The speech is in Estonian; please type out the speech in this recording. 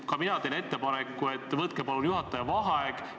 Ka mina teen ettepaneku, et palun võtke juhataja vaheaeg.